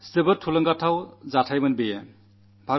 വളരെ ഉത്സാഹം വർധിപ്പിക്കുന്ന സംഭവങ്ങളായിരുന്നു